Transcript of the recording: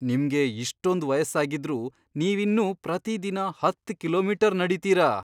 ನಿಮ್ಗೆ ಇಷ್ಟೊಂದ್ ವಯಸ್ಸಾಗಿದ್ರೂ ನೀವಿನ್ನೂ ಪ್ರತಿದಿನ ಹತ್ತ್ ಕಿಲೋಮೀಟರ್ ನಡೀತೀರಾ?